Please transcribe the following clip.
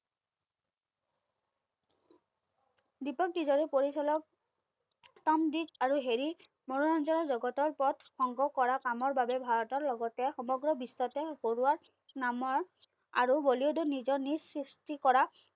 দিপক তিজৰি পৰিচালক তাম দিত আৰু হেৰি মৰু অঞ্চলৰ জগতৰ ওপৰত সংগ্ৰহ কৰা কামৰ বাবে ভাৰতৰ লগতে সমগ্ৰ বিশ্বতে পৰুৱাৰ নামৰ আৰু বলিউডত নিজৰ নিচ সৃষ্টি কৰা